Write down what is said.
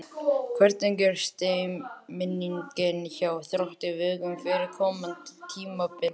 Hvernig er stemningin hjá Þrótti Vogum fyrir komandi tímabil?